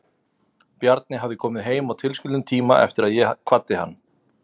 Bjarni hafði komið heim á tilskildum tíma eftir að ég kvaddi hann.